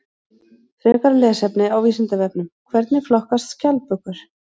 Frekara lesefni á Vísindavefnum: Hvernig flokkast skjaldbökur?